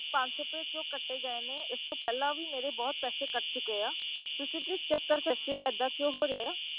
ਪੰਜ ਸੌ ਰੁਪਏ ਕਿਉਂ ਕੱਟੇ ਗਏ ਨੇ ਇਸ ਤੋਂ ਪਹਿਲਾਂ ਵੀ ਮੇਰੇ ਬਹੁਤ ਪੈਸੇ ਕੱਟ ਚੁੱਕੇ ਆ, ਤੁਸੀਂ please check ਕਰਕੇ ਦੱਸਿਓ ਏਦਾਂ ਕਿਉਂ ਹੋ ਰਿਹਾ ਆ,